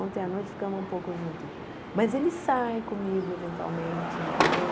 Ontem à noite ficamos um pouco juntos, mas ele sai comigo eventualmente, entendeu?